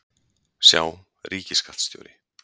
Sjá: Ríkisskattstjóri.